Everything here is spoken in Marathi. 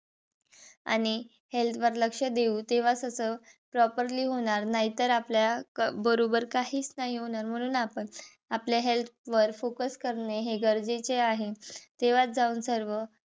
आणि health वर लक्ष देऊ. तेव्हा कस properly होणार. नाहीतर आपल्या बरोबर काहीच नाही होणार. म्हणून आपण आपल्या health वर focus करणे हे गरजेचे आहे. तेव्हाच जाऊन सर्व